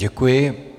Děkuji.